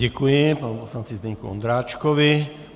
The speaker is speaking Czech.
Děkuji panu poslanci Zdeňku Ondráčkovi.